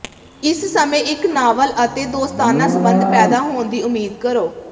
ਇਸ ਸਮੇਂ ਇੱਕ ਨਾਵਲ ਅਤੇ ਦੋਸਤਾਨਾ ਸੰਬੰਧ ਪੈਦਾ ਹੋਣ ਦੀ ਉਮੀਦ ਕਰੋ